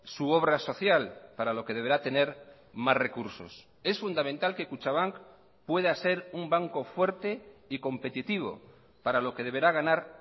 su obra social para lo que deberá tener más recursos es fundamental que kutxabank pueda ser un banco fuerte y competitivo para lo que deberá ganar